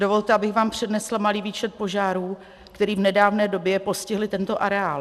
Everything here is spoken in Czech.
Dovolte, abych vám přednesla malý výčet požárů, který v nedávné době postihly tento areál.